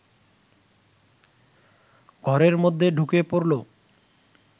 ঘরের মধ্যে ঢুকে পড়ল